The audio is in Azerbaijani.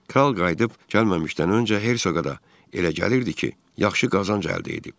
Kral qayıdıb gəlməzdən öncə Hersoqa da elə gəlirdi ki, yaxşı qazanc əldə edib.